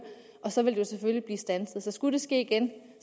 og så ville det selvfølgelig blive standset så skulle det ske igen